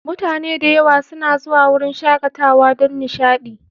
Mutane da yawa suna zuwa wurin shakatawa don nishaɗi